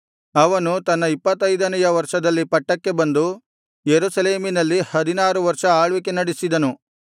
ಅವನು ತನ್ನ ಇಪ್ಪತ್ತೈದನೆಯ ವರ್ಷದಲ್ಲಿ ಪಟ್ಟಕ್ಕೆ ಬಂದು ಯೆರೂಸಲೇಮಿನಲ್ಲಿ ಹದಿನಾರು ವರ್ಷ ಆಳ್ವಿಕೆ ನಡೆಸಿದನು